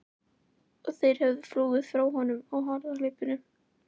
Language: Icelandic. Og þeir höfðu flúið frá honum á harðahlaupum.